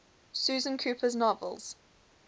susan cooper's novels